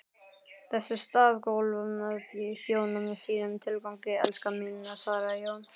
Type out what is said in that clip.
Þessi stafgólf þjóna sínum tilgangi, elskan mín, svaraði Jón.